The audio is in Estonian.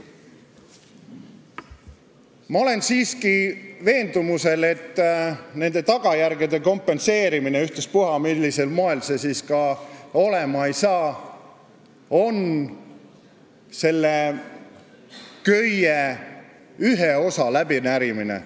" Ma olen siiski veendumusel, et nende tagajärgede kompenseerimine, ükstaspuha, millisel moel see siis ka olema saab, on selle köie ühe osa läbinärimine.